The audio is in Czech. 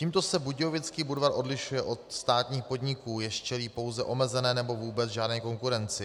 Tímto se Budějovický Budvar odlišuje od státních podniků, jež čelí pouze omezené nebo vůbec žádné konkurenci.